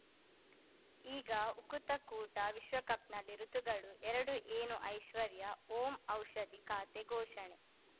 ಈಗ ಉಕುತ ಕೂಟ ವಿಶ್ವಕಪ್‌ನಲ್ಲಿ ಋತುಗಳು ಎರಡು ಏನು ಐಶ್ವರ್ಯಾ ಓಂ ಔಷಧಿ ಖಾತೆ ಘೋಷಣೆ